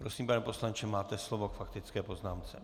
Prosím, pane poslanče, máte slovo k faktické poznámce.